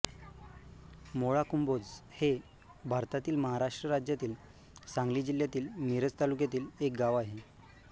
मोळाकुंभोज हे भारतातील महाराष्ट्र राज्यातील सांगली जिल्ह्यातील मिरज तालुक्यातील एक गाव आहे